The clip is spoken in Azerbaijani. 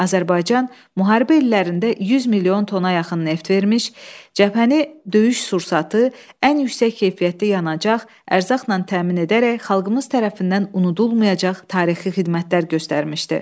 Azərbaycan müharibə illərində 100 milyon tona yaxın neft vermiş, cəbhəni döyüş sursatı, ən yüksək keyfiyyətli yanacaq, ərzaqla təmin edərək xalqımız tərəfindən unudulmayacaq tarixi xidmətlər göstərmişdi.